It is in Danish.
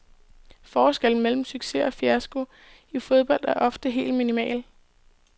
Forskellen mellem succes og fiasko i fodbold er ofte helt minimal.